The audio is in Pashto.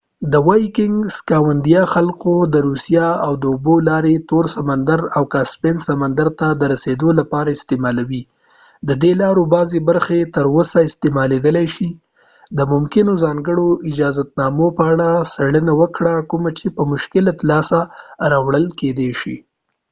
سکاندیناوي خلکو یا vikings د روسیې د اوبو لارې تور سمندر او کاسپین سمندر ته درسیدو لپاره استعمالولې ددې لارو بعضې برخې تر اوسه استعمالیدای شي د ممکنو ځانکړو اجازتنامو په اړه څیړنه وکړه کوم چې په مشکله لاسته راوړل کیدای شي